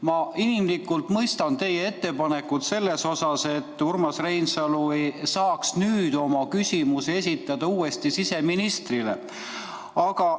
Ma inimlikult mõistan teie ettepanekut selles osas, et Urmas Reinsalu saaks nüüd oma küsimuse siseministrile esitada.